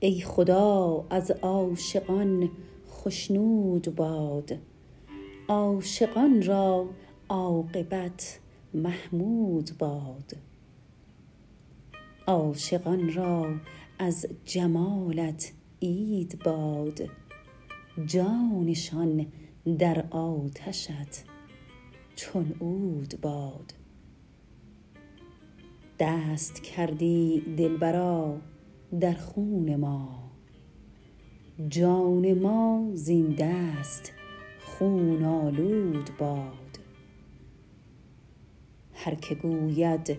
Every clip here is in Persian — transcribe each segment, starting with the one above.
ای خدا از عاشقان خشنود باد عاشقان را عاقبت محمود باد عاشقان را از جمالت عید باد جانشان در آتشت چون عود باد دست کردی دلبرا در خون ما جان ما زین دست خون آلود باد هر که گوید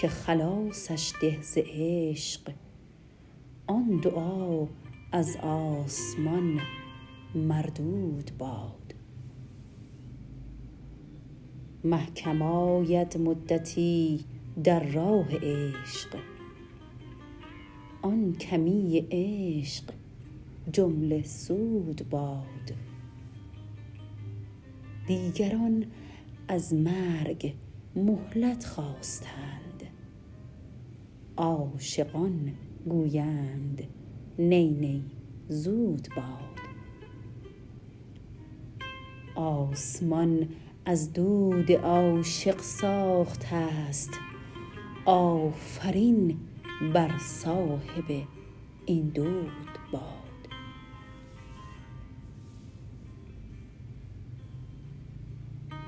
که خلاصش ده ز عشق آن دعا از آسمان مردود باد مه کم آید مدتی در راه عشق آن کمی عشق جمله سود باد دیگران از مرگ مهلت خواستند عاشقان گویند نی نی زود باد آسمان از دود عاشق ساخته ست آفرین بر صاحب این دود باد